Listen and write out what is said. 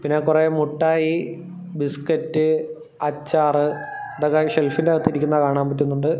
പിന്നെ കൊറെ മുട്ടായി ബിസ്കറ്റ് അച്ചാറ് ഇതൊക്കെ ആ ഷെൽഫിൻ്റാത്ത് ഇരിക്കുന്നത് കാണാൻ പറ്റുന്നുണ്ട്.